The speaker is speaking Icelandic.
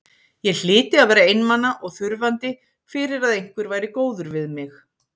Ég hlyti að vera einmana og þurfandi fyrir að einhver væri góður við mig.